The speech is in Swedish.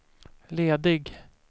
ledig